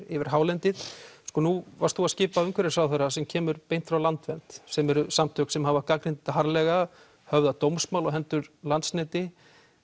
yfir hálendið nú varst þú að skipa umhverfisráðherra sem kemur beint frá Landvernd sem eru samtök sem hafa gagnrýnt þetta harðlega höfðað dómsmál á hendur Landsneti